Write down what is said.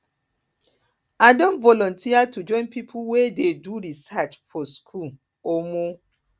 i don volunteer to join pipo wey dey do research for skool um